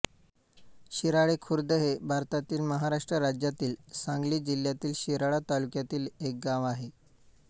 शिराळे खुर्द हे भारतातील महाराष्ट्र राज्यातील सांगली जिल्ह्यातील शिराळा तालुक्यातील एक गाव आहे